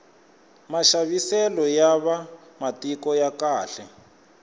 maxaviselo ya va matiko ya khale